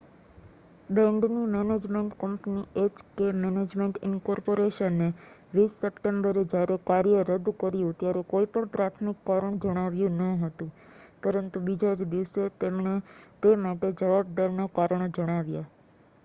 બેન્ડની management company H K management incorporation એ 20 સપ્ટેમ્બરે જયારે કાર્ય રદ કર્યું ત્યારે કોઈ પણ પ્રાથમિક કારણ જણાવ્યું ન હતું પરંતુ બીજા જ દિવસે એમણે તે માટે જવાબદારના કારણો જણાવ્યા